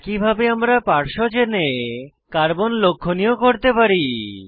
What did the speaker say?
একইভাবে আমরা পার্শ্ব চেনে কার্বন লক্ষনীয় করতে পারি